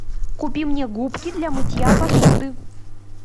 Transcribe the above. купи мне губки для мытья посуды